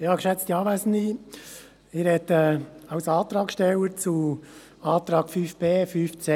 Ich spreche als Antragsteller zu den Anträgen 5.b, 5.c und 5.d.